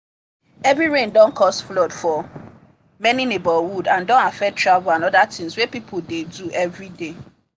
heavy rain don cause flood for many neighbourhood and don affect travel and other things wey people dey do everyday